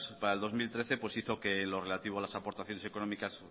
para el dos mil trece pues hizo que lo relativo a las aportaciones económicas